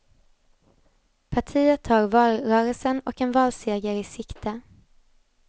Partiet har valrörelsen och en valseger i sikte.